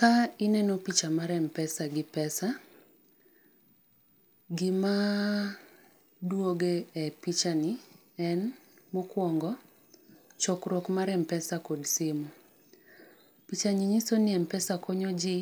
Ka ineno picha mar M-Pesa gi pesa, gima duogo e pichani, en mokwongo, chokruok mar M-Pesa kod simu. Pichani nyiso ni M-Pesa konyo ji